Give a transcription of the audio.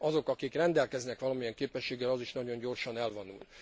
Azok, akik rendelkeznek valamilyen képességgel, az is nagyon gyorsan elavul.